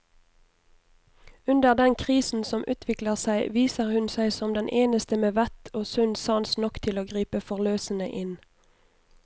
Under den krisen som utvikler seg, viser hun seg som den eneste med vett og sunn sans nok til å gripe forløsende inn.